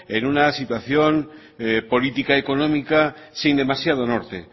en una situación política económica sin demasiado norte